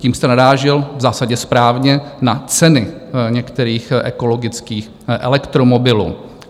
Tím jste narážel - v zásadě správně - na ceny některých ekologických elektromobilů.